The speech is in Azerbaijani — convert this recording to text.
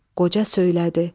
Qoca söylədi.